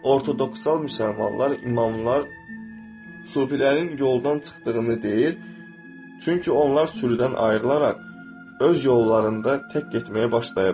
Ortodoksan müsəlmanlar, imamlar sufilərin yoldan çıxdığını deyir, çünki onlar sürüdən ayrılaraq öz yollarında tək getməyə başlayıblar.